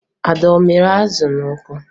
Ada a mịrị azụ ahụ n'ọkụ?